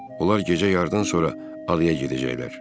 Onlar gecə yardan sonra adaya gedəcəklər.